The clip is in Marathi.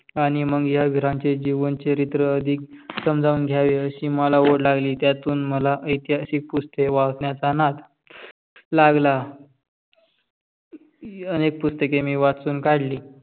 आणि मग या वीरांचे जीवन चरित्र अधिक समजाऊन घ्यावे अशी मला ओढ लागली. त्यातून मला आयतिहासिक पुस्तके वाचण्याचा नाद लागला. अनेक पुस्तेके मी वाचून काढली